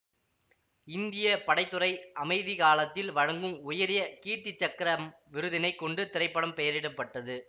இந்திய படை துறை அமைதிகாலத்தில் வழங்கும் உயரிய கீர்த்தி சக்கரம் விருதினைக் கொண்டு திரைப்படம் பெயரிட பட்டது